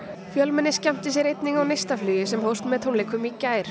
fjölmenni skemmtir sér einnig á neistaflugi sem hófst með tónleikum í gær